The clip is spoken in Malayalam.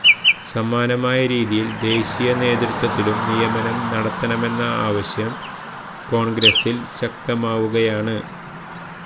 സമാനമായ രീതിയിൽ ദേശീയ നേതൃത്വത്തിലും നിയമനം നടത്തണമെന്ന ആവശ്യം കോൺഗ്രസിൽ ശക്തമാവുകയാണ്